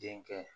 Denkɛ